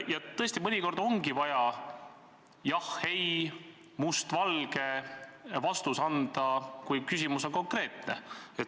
Aga tõesti, mõnikord ongi vaja vastata jah või ei, must või valge, kui küsimus on konkreetne.